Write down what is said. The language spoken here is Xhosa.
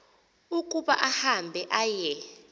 ukuba ahambe aye